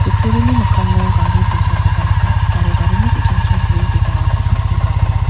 utturini mikkango gari bolsakoba nika aro garini ki·sangchi gue bipangrangkoba nikatenga.